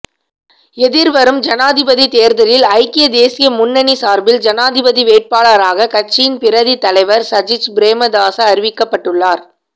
எதிர்வரும் ஜனாதிபதித் தேர்தலில் ஐக்கிய தேசிய முன்னணி சார்பில் ஜனாதிபதி வேட்பாளராக கட்சியின் பிரதித் தலைவர் சஜித் பிரேமதாச அறிவிக்கப்பட்டுள்ளார்